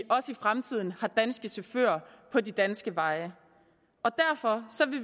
også i fremtiden er danske chauffører på de danske veje derfor